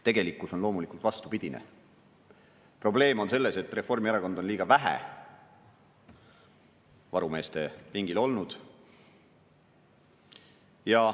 Tegelikkus on loomulikult vastupidine: probleem on selles, et Reformierakond on liiga vähe varumeeste pingil olnud.